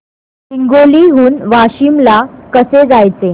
हिंगोली हून वाशीम ला कसे जायचे